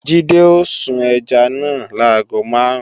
Jídé ó sun ẹja náà láago máàrún